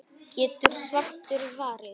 getur svartur varist.